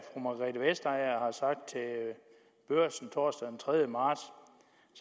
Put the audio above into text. margrethe vestager har sagt til børsen den tredje marts